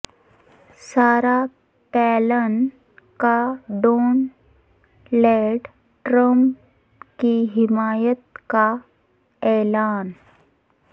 سارا پیلن کا Donald Trump کی حمایت کا اعلان